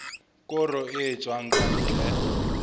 koro e tswang ka ntle